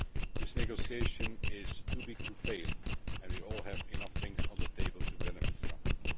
This negotiation is too big to fail, and we all have enough things on the table to benefit from it.